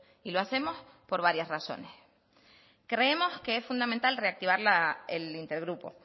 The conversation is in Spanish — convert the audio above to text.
y lo hacemos por varias razones creemos que es fundamental reactivar el intergrupo